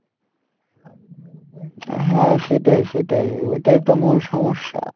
হ্যাঁ সেটাই সেটাই ওটাই তো মূল সমস্যা,